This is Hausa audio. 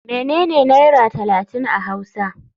Menene naira talatin a hausa.